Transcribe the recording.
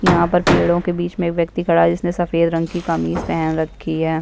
यहाँ पर पेड़ों के बीच मे एक व्यक्ति खड़ा है जिसने सफ़ेद रंग की कमीज पहन रही है।